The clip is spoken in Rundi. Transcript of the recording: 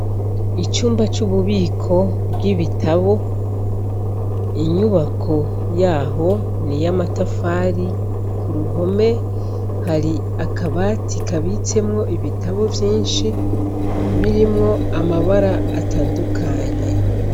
Icumba cububiko bwibitabu inyubako yaho niy’amatafari kuruhome hari akabati kabitsemwo ibitabu vyinshi birimwo amabara atandukanye.